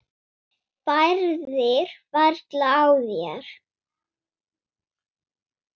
Bærðir varla á þér.